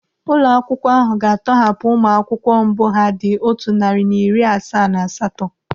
Ụlọ akwụkwọ ahụ ga-atọghapụ ụmụ akwụkwọ mbụ ha dị otu narị na iri asaa na asatọ.